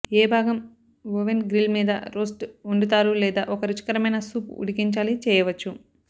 ఏ భాగం oven grill మీద roast వండుతారు లేదా ఒక రుచికరమైన సూప్ ఉడికించాలి చేయవచ్చు